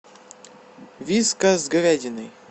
вискас с говядиной